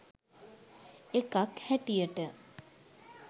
එකක් හැටියට.